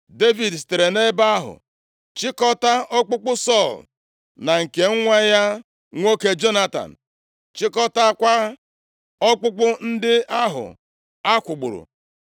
Devid sitere nʼebe ahụ chịkọtaa ọkpụkpụ Sọl na nke nwa ya nwoke Jonatan, chịkọtaakwa ọkpụkpụ ndị ahụ akwụgburu.